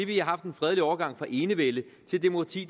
vi har haft en fredelig overgang fra enevælde til demokrati